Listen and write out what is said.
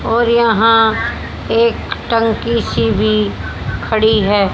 और यहां एक टंकी सी भी खड़ी है।